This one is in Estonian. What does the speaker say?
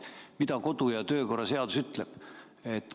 Mida kodu- ja töökorra seadus ütleb?